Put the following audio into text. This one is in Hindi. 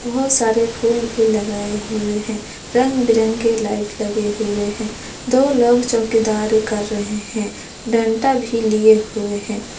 बहुत सारे फूल भी लगाए हुए हैं रंग बिरंगे लाइट लगे हुए हैं दो लोग चौकीदार कर रहे हैं डंडा भी लिए हुए हैं।